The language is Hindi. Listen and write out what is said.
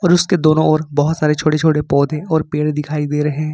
और उसके दोनों और बहुत सारी छोटे छोटे पौधे और पेड़ दिखाई दे रहे हैं।